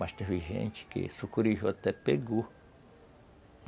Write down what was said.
Mas teve gente que sucuri até pegou.